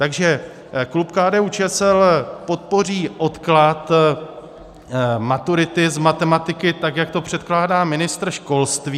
Takže klub KDU-ČSL podpoří odklad maturity z matematiky tak, jak to předkládá ministr školství.